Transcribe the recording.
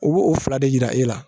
U b'o fila de jira e la